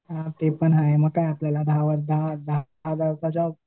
हां ते पण हाय मग काय आपल्याला दहा दहा दहा